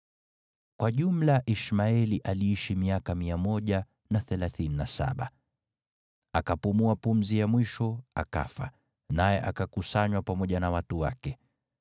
Kwa jumla Ishmaeli aliishi miaka 137. Akapumua pumzi ya mwisho, akafa, naye akakusanywa pamoja na watu wake.